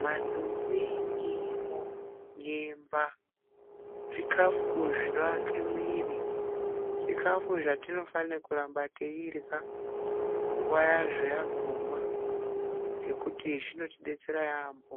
Manduweni ,nyimo ,nyemba zvikafu zvino ake mwiri zvikafu zvatino fane kuramba teirya nguva yazvo yaguma ngekuti zvinoti detsera yambo